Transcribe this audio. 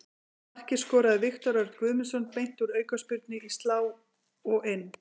Markið skoraði Viktor Örn Guðmundsson beint úr aukaspyrnu, í slá og inn.